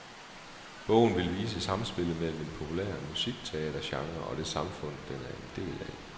Bogen vil vise samspillet mellem en populær musikteatergenre og det samfund, den er en del af.